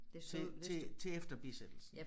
Til til til efter bisættelsen